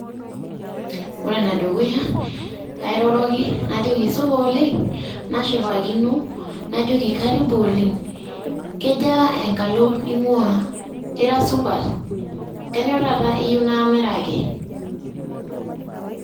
Ore enedukuya, airoroki najoki supa oleng'. Nashipakino najoki karibu oleng'. Kejaa enkalo ning'ua? Ira supat? Kanyioo taata iyieu naamiraki?